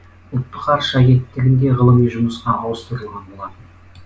ұлттық ғарыш агенттігінде ғылыми жұмысқа ауыстырылған болатын